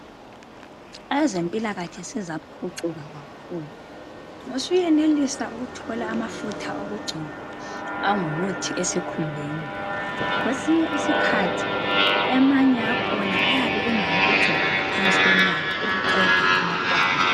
Ezempilakahle sezaphucuka kakhulu. Usuyenelisa ukuthola amafutha okugcoba angumuthi esikhumbeni. Kwesinye isikhathi amanye akhona ayabe engawokugcoba ngaphansi kwenyawo ukuqeda amakwande.